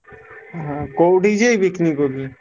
ହଁ କୋଉଠିକି ଯିବେ picnic କହୁଥିଲେ?